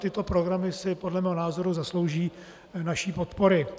Tyto programy si podle mého názoru zaslouží naší podpory.